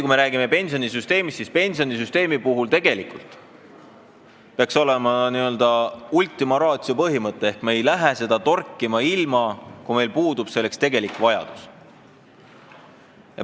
Kui me räägime pensionisüsteemist, siis peaks kehtima n-ö ultima ratio põhimõte: me ei lähe seda torkima, kui meil puudub selleks tegelik vajadus.